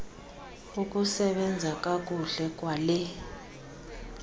ukusebenza kakuhle kwale